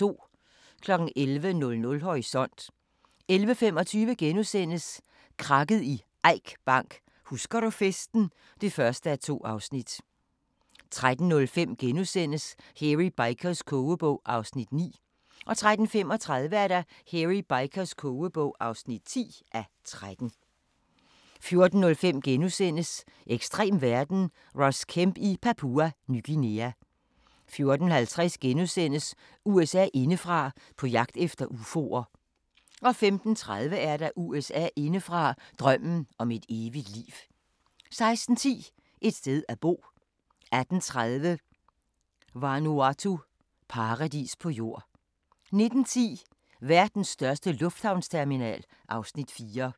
11:00: Horisont 11:25: Krakket i Eik Bank: Husker du festen (1:2)* 13:05: Hairy Bikers kogebog (9:13)* 13:35: Hairy Bikers kogebog (10:13) 14:05: Ekstrem verden – Ross Kemp i Papua Ny Guinea * 14:50: USA indefra: På jagt efter ufoer * 15:30: USA indefra: Drømmen om et evigt liv 16:10: Et sted at bo 18:30: Vanuatu – paradis på jord 19:10: Verdens største lufthavnsterminal (Afs. 4)